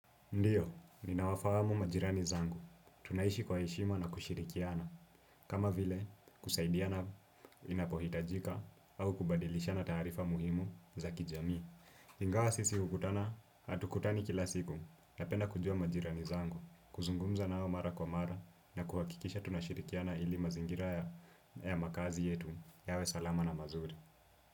Ndio, ninawafajamu majirani zangu. Tunaishi kwa heshima na kushirikiana. Kama vile, kusaidiana inapohitajika au kubadilisha na ttarifa muhimu za kijami. Ingawa sisi ukutana, hatukutani kila siku. Napenda kujua majirani zangu, kuzungumza nao mara kwa mara na kuhakikisha tunashirikiana ili mazingira ya makaazi yetu. Yawe salama na mazuri.